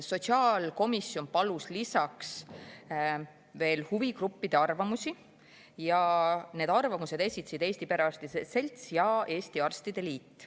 Sotsiaalkomisjon palus lisaks huvigruppide arvamusi ja need arvamused esitasid Eesti Perearstide Selts ja Eesti Arstide Liit.